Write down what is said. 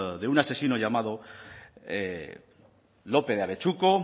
de un asesino llamado lópez de abetxuko